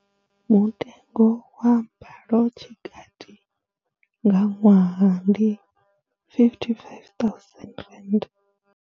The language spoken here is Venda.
Mutengo wa mbalotshikati nga ṅwaha ndi R55 000.